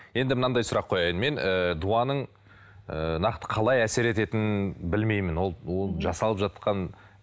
енді мынандай сұрақ қояйын мен ыыы дуаның ыыы нақты қалай әсер ететінін білмеймін ол ол жасалып жатқан